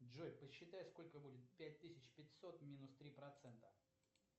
джой посчитай сколько будет пять тысяч пятьсот минус три процента